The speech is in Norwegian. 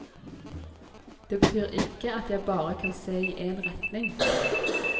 Det betyr ikke at jeg bare kan se i en retning.